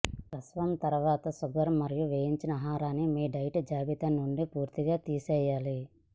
ప్రసవం తరువాత షుగర్ మరియు వేయించిన ఆహారాన్ని మీ డైట్ జాబితా నుండి పూర్తిగా తీసేయాలి